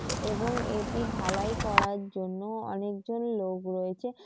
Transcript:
এবং এটি ঢালাই করার জন্য অনেক জন লোক রয়েছে।